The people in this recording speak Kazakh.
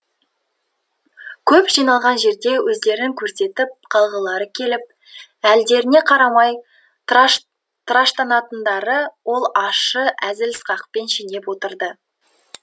көп жиналған жерде өздерін көрсетіп қалғылары келіп әлдеріне қарамай тыраштанатындарды ол ащы әзіл сықақпен шенеп отырды